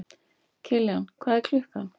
Kiljan, hvað er klukkan?